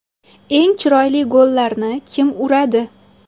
Eng chiroyli gollarni kim uradi?